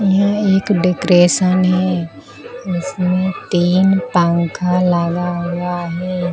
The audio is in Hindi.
यह एक डेकोरेशन है इसमें तीन पंखा लगा हुआ है।